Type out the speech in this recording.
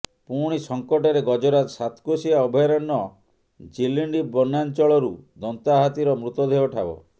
ପୁଣି ସଙ୍କଟରେ ଗଜରାଜ ସାତକୋଶିଆ ଅଭୟାରଣ୍ୟ ଜିଲିଣ୍ଡ ବନାଞ୍ଚଳରୁ ଦନ୍ତା ହାତୀର ମୃତଦେହ ଠାବ